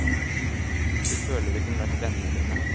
Du føler det kunne vært vennene dine.